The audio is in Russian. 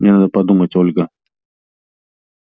мне надо подумать ольга